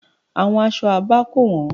Àwọn aṣọ Abá kò wọ́n.